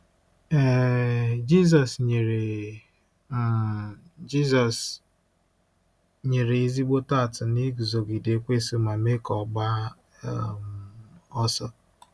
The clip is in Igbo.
um Jizọs nyere um Jizọs nyere ezigbo atụ na iguzogide Ekwensu ma mee ka ọ gbaa um ọsọ.